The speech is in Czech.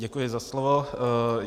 Děkuji za slovo.